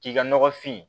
K'i ka nɔgɔ fin